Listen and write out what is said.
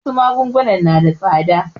Wasu magunguna na da tsada.